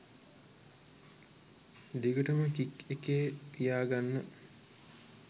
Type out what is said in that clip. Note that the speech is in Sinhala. දිගටම කික් එකේ තියාගන්න.